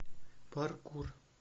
паркур